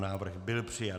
Návrh byl přijat.